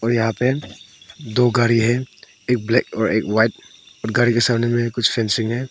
और यहां पे दो गाड़ी है एक ब्लैक और एक वाइट गाड़ी के सामने में कुछ फेंसिंग है।